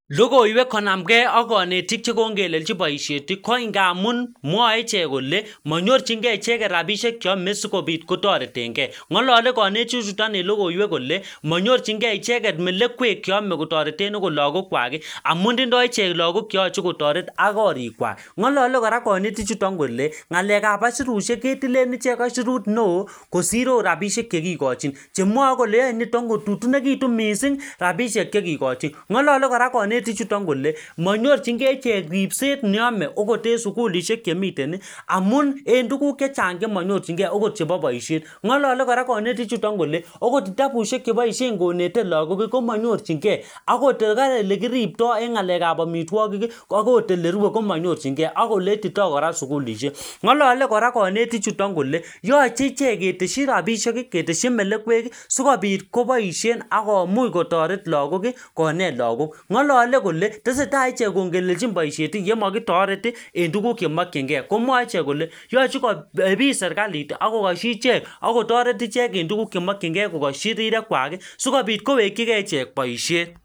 logiwek konam kee ak konetik chekongelelchi boisheti koingamun mwoe ichek kole monyorchinkee cheket rapishek cheome sikopit kotoretenkee ng'olole konetichuton en logoiwek kole monyorchikee icheket melekwek cheome kotorenten akot lagokwak i amun tindo ichek lagok cheoche kotoret ak korikwak ng'olole kora konetichuton kole ngalekab aisurushek ketilen ichek aisurut neoo kosir oot rapishek chekikochin chemwoe kole yoe nitok kotutukinikitu mising rapishek chekikochin ng'olole kora konetichuton kole manyorchinkee ichek ripset neome akot en sugulishek chemiteni amun en tuguk chechang chemonyorchinkee akot chepo boishet ng'olole konetichuton kole akot kitabushek cheboishen konete lagok komonyorchinkee agot kora ele kiripto en ngalekab amitwogiki akot ele kirue komanyorchinkee ak ole itito sugulishek ng'olole kora konetichuton kole yoche keteshi rapishek ii keteshi melekweki sikopit koboishen akomuch kotoret lagok ii konet lagok ng'olole kole teseta ichek kong'elelchin boishet yemokitoret en tuguk chemokyinke komwoe ichek kole yoche koepit serkaliti ak kokoshi ichek akotoret ichek en tuguk chemokyinkee kokoshi rirekwaki sikopit kowekyi kee ichek boishet